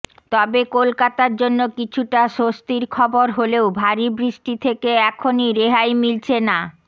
তবে কলকাতার জন্য কিছুটা স্বস্তির খবর হলেও ভারী বৃষ্টি থেকে এখনই রেহাই মিলছে না